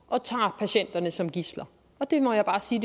jeg man som gidsler og det må jeg bare sige